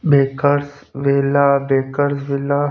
bakers वेला bakers वेला --